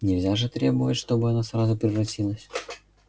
нельзя же требовать чтобы она сразу превратилась